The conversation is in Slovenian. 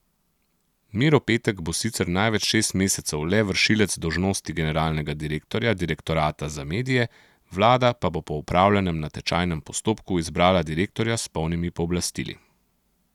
Miro Petek bo sicer največ šest mesecev le vršilec dolžnosti generalnega direktorja Direktorata za medije, vlada pa bo po opravljenem natečajnem postopku izbrala direktorja s polnimi pooblastili.